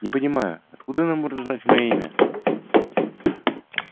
не понимаю откуда она может знать моё имя